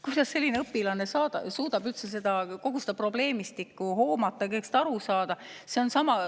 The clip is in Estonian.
Kuidas selline õpilane suudab üldse kogu seda probleemistikku hoomata, kõigest aru saada?